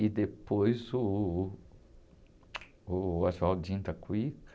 E depois uh, o.